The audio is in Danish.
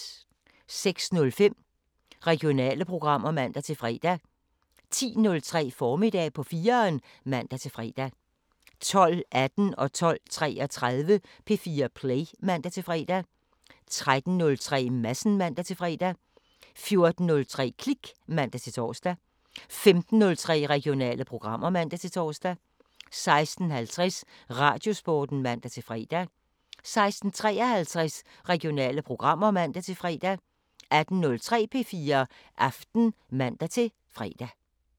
06:05: Regionale programmer (man-fre) 10:03: Formiddag på 4'eren (man-fre) 12:18: P4 Play (man-fre) 12:33: P4 Play (man-fre) 13:03: Madsen (man-fre) 14:03: Klik (man-tor) 15:03: Regionale programmer (man-tor) 16:50: Radiosporten (man-fre) 16:53: Regionale programmer (man-fre) 18:03: P4 Aften (man-fre)